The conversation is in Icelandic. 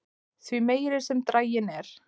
því meiri sem draginn er